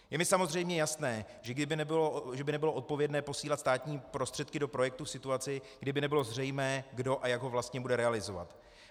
Je mi samozřejmě jasné, že by nebylo odpovědné posílat státní prostředky do projektu v situaci, kdyby nebylo zřejmé, kdo a jak ho vlastně bude realizovat.